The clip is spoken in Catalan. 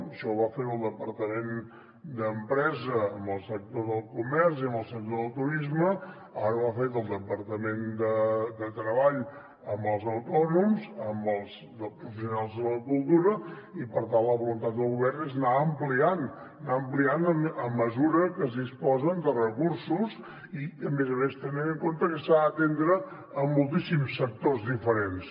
això ho va fer el departament d’empresa amb el sector del comerç i amb el sector del turisme ara ho ha fet el departament de treball amb els autònoms amb els professionals de la cultura i per tant la voluntat del govern és anar ampliant anar ampliant a mesura que es disposen de recursos i a més a més tenint en compte que s’ha d’atendre moltíssims sectors diferents